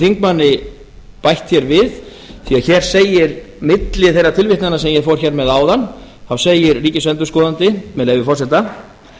þingmanni bætt hér við því hér segir milli þeirra tilvitnana sem ég fór hér með áðan þá segir ríkisendurskoðandi með leyfi forseta